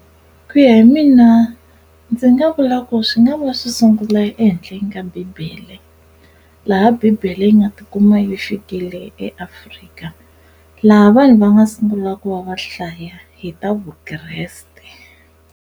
Ku ya hi mina ndzi nga vula ku swi nga va swi sungula ehenhleni ka bibele laha bibele yi nga tikuma yi fikile eAfrika laha vanhu va nga sungula ku va va hlaya hi ta vukreste.